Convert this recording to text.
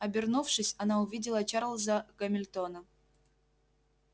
обернувшись она увидела чарлза гамильтона